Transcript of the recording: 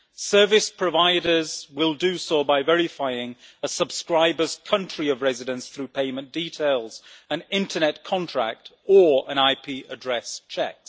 Service providers will do so by verifying a subscriber's country of residence through payment details, an internet contract or an IP address check.